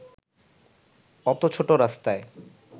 অত ছোট রাস্তায়